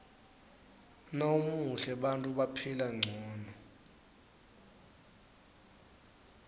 nawumuhle bantfu baphila ngcono